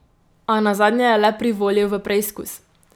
A nazadnje je le privolil v preizkus.